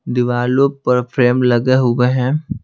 दीवालों पर फ्रेम लगे हुए हैं।